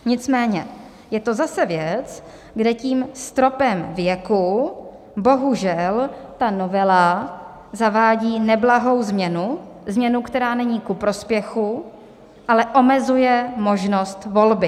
Nicméně je to zase věc, kde tím stropem věku bohužel ta novela zavádí neblahou změnu, změnu, která není ku prospěchu, ale omezuje možnost volby.